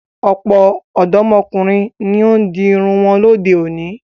Ọ̀pọ̀ ọ̀dọ́mọkùnrin ni ó di irun wọn lóde-òní.